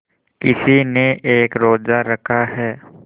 किसी ने एक रोज़ा रखा है